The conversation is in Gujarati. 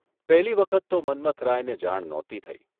પહેલી વખત તો મન્મથરાયને જાણ નહોતી થઈ